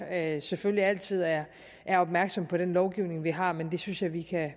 at jeg selvfølgelig altid er er opmærksom på den lovgivning vi har men det synes jeg vi kan